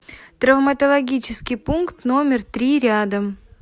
травматологический пункт номер три рядом